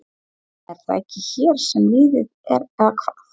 Er það ekki hér sem lífið er. eða hvað?